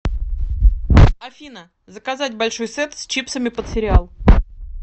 афина заказать большой сет с чипсами под сериал